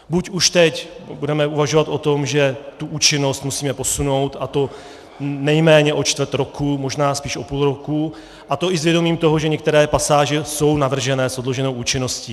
Buď už teď budeme uvažovat o tom, že účinnost musíme posunout, a to nejméně o čtvrt roku, možná spíš o půl roku, a to i s vědomím toho, že některé pasáže jsou navržené s odloženou účinností.